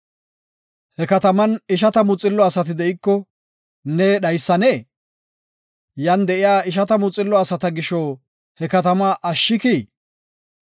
He katamen ishatamu xillo asati de7iko ne dhaysannee? Yan de7iya ishatamu xillo asata gisho he katama ashshikii?